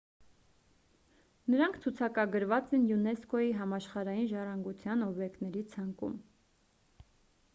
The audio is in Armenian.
նրանք ցուցակագրված են յունեսկօ-ի համաշխարհային ժառանգության օբյեկտների ցանկում